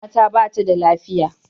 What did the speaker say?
Ƙanwata ba ta da lafiya